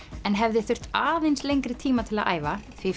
en hefði þurft aðeins lengri tíma til að æfa því